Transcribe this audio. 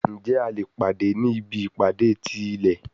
Njẹ a le pade ni ibi ipade ti ilẹ?